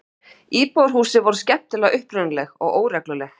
Íbúðarhúsin voru skemmtilega upprunaleg og óregluleg.